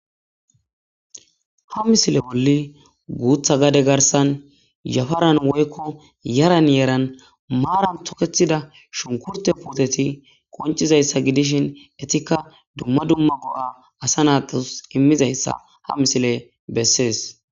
ha misile bolli guththa gade garssan yafaran woykko yaran yeran maran tokeththida shunkurtte puuteti qoncizayssa gidishin etikka dumma dumma go'a asa naatus imizayssa ha misiley besees